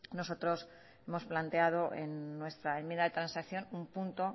nosotros hemos planteado en nuestra enmienda de transacción un punto